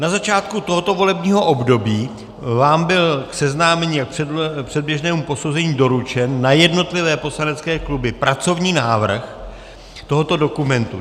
Na začátku tohoto volebního období vám byl k seznámení a předběžnému posouzení doručen na jednotlivé poslanecké kluby pracovní návrh tohoto dokumentu.